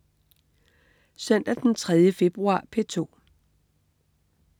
Søndag den 3. februar - P2: